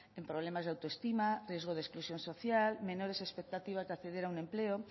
como problemas de autoestima riesgo de exclusión social menores expectativas de acceder a un empleo